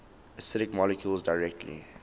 acidic molecules directly